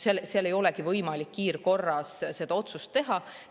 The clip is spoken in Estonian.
Seal ei olegi võimalik kiirkorras seda otsust teha.